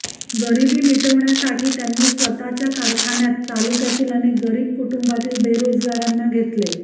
गरीबी मिटविण्यासाठी त्यांनी स्वतःच्या कारखान्यात तालुक्यातील अनेक गरीब कुटूंबातील बेरोजगारांना घेतले